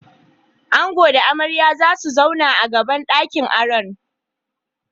Ango da amarya zasu zauna a gaban ɗakin aron.